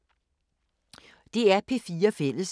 DR P4 Fælles